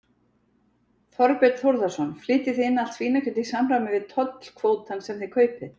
Þorbjörn Þórðarson: Flytjið þið inn allt svínakjöt í samræmi við tollkvótann sem þið kaupið?